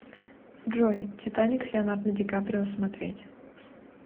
джой титаник с леанардо ди каприо смотреть